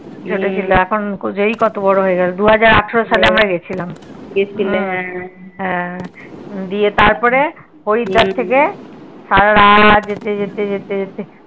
ছোট ছিল এখন জয়ী কত বড় হয়ে গেলো দুহাজার আঠেরো সাল এ আমরা গেছিলাম তারপরে হরিদ্বার থেকে সারারাত যেতে যেতে যেতে যেতে